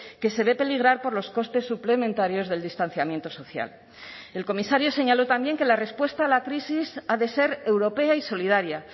que se ve peligrar por los costes suplementarios del distanciamiento social el comisario señaló también que la respuesta a la crisis ha de ser europea y solidaria